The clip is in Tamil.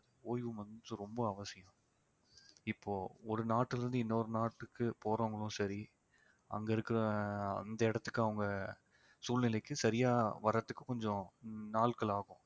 ஓய்வு வந்து ரொம்ப அவசியம் இப்போ ஒரு நாட்டிலே இருந்து இன்னொரு நாட்டுக்கு போறவங்களும் சரி அங்க இருக்க அந்த இடத்துக்கு அவங்க சூழ்நிலைக்கு சரியா வர்றதுக்கு கொஞ்சம் நாட்கள் ஆகும்